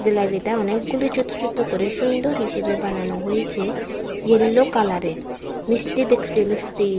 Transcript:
জিলাইবিটা অনেকগুলি ছোত ছোত করে সুন্দর হিসেবে বানানো হয়েছে ইয়েল্লো কালারের মিষ্টি দেখছে মিষ্টি।